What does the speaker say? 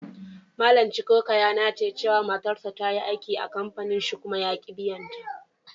Mallam Chukwuka ya nace cewa matarsa ta yi aiki a'kampanin shi kuma yaki biyan ta.